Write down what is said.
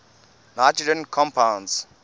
nitrogen compounds